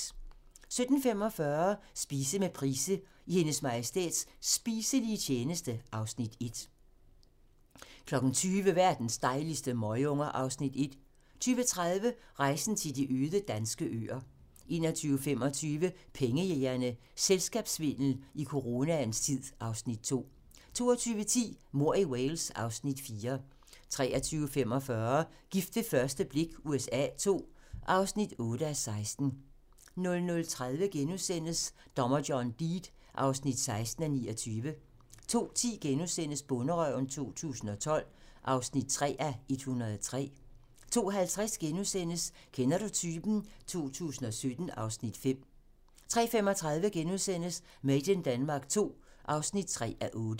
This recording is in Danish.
17:45: Spise med Price - I Hendes Majestæts spiselige tjeneste (Afs. 1) 20:00: Verdens dejligste møgunger (Afs. 1) 20:30: Rejsen til de øde danske øer 21:25: Pengejægerne - Selskabssvindel i coronaens tid (Afs. 2) 22:10: Mord i Wales (Afs. 4) 23:45: Gift ved første blik USA II (8:16) 00:30: Dommer John Deed (16:29)* 02:10: Bonderøven 2012 (3:103)* 02:50: Kender du typen? 2017 (Afs. 5)* 03:35: Made in Denmark II (3:8)*